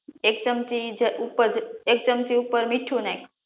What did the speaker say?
એક ચમચી ઉપર મીઠું નાખ